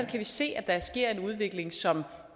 vi se at der sker en udvikling som